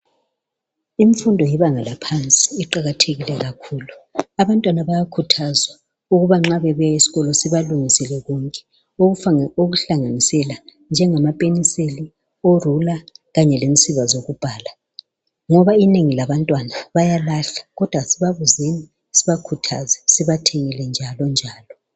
Imfundo yebanga laphansi iqakathekile kakhulu Abantwana bayakhuthazwa ukuba nxa bebuya esikolo sibalungisele konke okuhlanganisela njengama penseli o ruler kanye lensiba zokubhala .ngoba Inengi labantwana bayalahla ,kodwa kasibabuzeni sibakhuthaze sibathengele njalonjalo